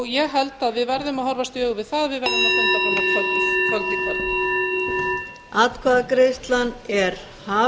ég held að við verðum að horfast í augu við það að við verðum að funda fram á kvöld í kvöld